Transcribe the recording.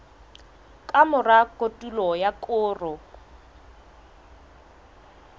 ka mora kotulo ya koro